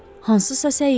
Hansısa səyyahdır.